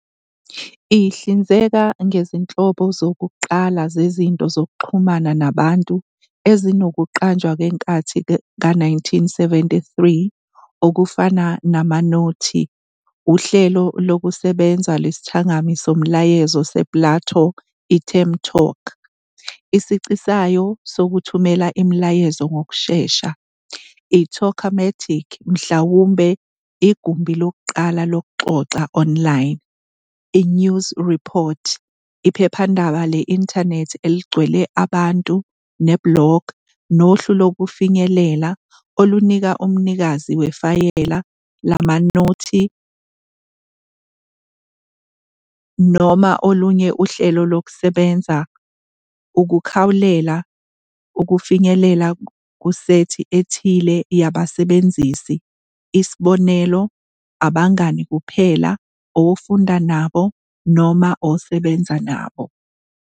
Ihlinzeka ngezinhlobo zokuqala zezinto zokuxhumana nabantu ezinokuqanjwa kwenkathi ka-1973 okufana namanothi, uhlelo lokusebenza lwesithangami somyalezo sePLATO I-TERM-talk, isici sayo sokuthumela imiyalezo ngokushesha, I-Talkomatic, mhlawumbe igumbi lokuqala lokuxoxa online, I-News Report, iphephandaba le-inthanethi eligcwele abantu, ne-blog, nohlu lokufinyelela, olunika umnikazi wefayela lamanothi noma olunye uhlelo lokusebenza ukukhawulela ukufinyelela kusethi ethile yabasebenzisi, isibonelo, abangani kuphela, ofunda nabo, noma osebenza nabo.